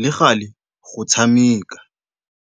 le galê go tshameka.